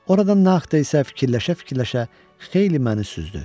Oradan naxışa, fikirləşə-fikirləşə xeyli məni süzdü.